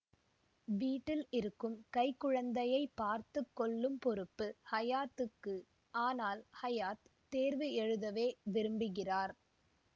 வீட்டில் இருக்கும் கைக்குழந்தையை பார்த்து கொள்ளும் பொறுப்பு ஹையாத்துக்கு ஆனால் ஹையாத் தேர்வு எழுதவே விரும்புகிறார்